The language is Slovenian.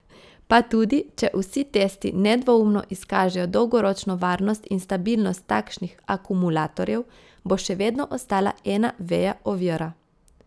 Pa tudi, če vsi testi nedvoumno izkažejo dolgoročno varnost in stabilnost takšnih akumulatorjev, bo še vedno ostala ena veja ovira.